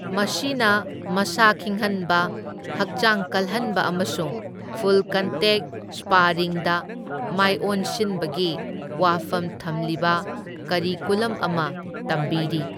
ꯃꯁꯤꯅ ꯃꯁꯥ ꯈꯤꯡꯍꯟꯕ, ꯍꯛꯆꯥꯡ ꯀꯜꯍꯟꯕ ꯑꯃꯁꯨꯡ ꯐꯨꯜ ꯀꯟꯇꯦꯛ ꯁ꯭ꯄꯥꯔꯤꯡꯗ ꯃꯥꯢꯑꯣꯟꯁꯤꯟꯕꯒꯤ ꯋꯥꯐꯝ ꯊꯝꯂꯤꯕ ꯀꯔꯤꯀꯨꯂꯝ ꯑꯃ ꯇꯝꯕꯤꯔꯤ꯫